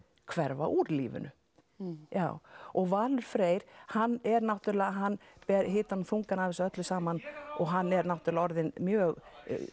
hverfa úr lífinu og Valur Freyr hann er náttúrulega hann ber hitann og þungan af þessu öllu saman og hann er náttúrulega orðinn mjög